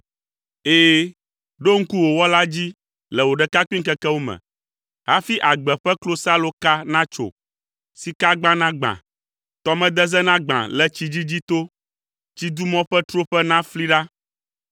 Ɛ̃, ɖo ŋku wò Wɔla dzi le wò ɖekakpuiŋkekewo me, hafi agbe ƒe klosaloka natso, sikagba nagbã, tɔmedeze nagbã le tsi dzidzi to, tsidumɔ ƒe troƒe nafli ɖa,